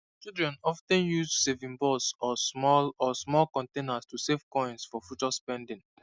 children of ten use saving box or small or small containers to save coins for future spending